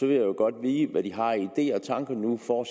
vil jo godt vide hvad de har af ideer og tanker nu for